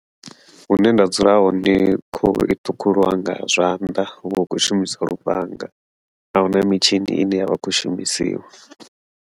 Hune nda dzula hone khuhu i ṱhukhuliwa nga zwanḓa, huvha hu khou shumisiwa lufhanga ahuna mitshini ine yavha i khou shumisiwa.